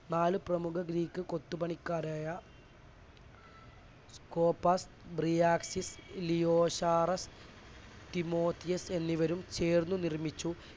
നാല് പ്രമുഖ ഗ്രീക്ക് കൊത്തുപണിക്കാരായ കോർബർട്ട്, ബ്രിയാസിസ്, ലിയോഷാരഫ്, തിമോത്തിയോസ് എന്നിവരും ചേർന്ന് നിർമ്മിച്ചു.